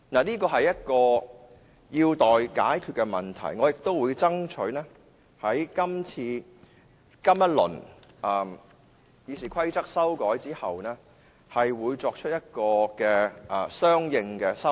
這是一個有待解決的問題，我也會爭取在這一輪《議事規則》的修訂之後，作出相應的修訂。